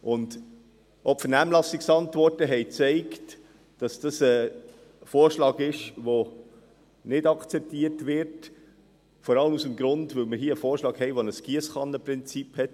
Auch die Vernehmlassungsantworten haben gezeigt, dass es ein Vorschlag ist, der nicht akzeptiert wird, vor allem aus dem Grund, dass dieser Vorschlag das Giesskannenprinzip anwendet.